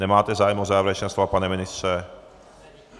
Nemáte zájem o závěrečná slova, pane ministře.